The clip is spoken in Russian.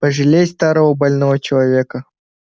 пожалей старого больного человека